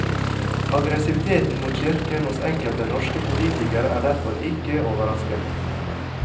Aggressiviteten mot kirken hos enkelte norske politikere er derfor ikke overraskende.